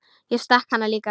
Ég stakk hann líka.